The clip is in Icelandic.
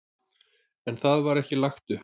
En það var ekki lagt upp.